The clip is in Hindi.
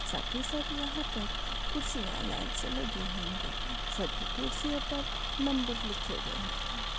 साथ ही साथ यहा पर कुर्सिया लाइन से लगी हुई है सभी कुर्सिओ पर नंबर लिखे गये है।